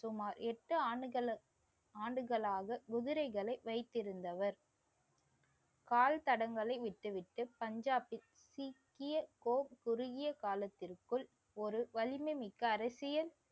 சுமார் எட்டு ஆண்டுகளுக்~ ஆண்டுகளாக குதிரைகளை வைத்திருந்தவர் கால் தடங்களை விட்டுவிட்டு பஞ்சாபில் குறுகிய காலத்திற்குள் ஒரு வலிமைமிக்க அரசியல்